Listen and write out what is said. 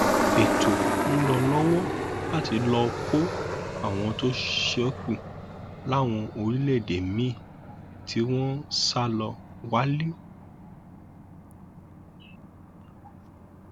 ètò ń lọ lọwọ láti lọọ kọ àwọn tó ṣekú láwọn orílẹèdè míín tí wọn sá lọ wálé